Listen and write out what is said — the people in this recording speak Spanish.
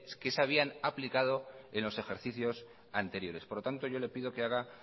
que se habían aplicado en los ejercicios anteriores por lo tanto yo le pido que haga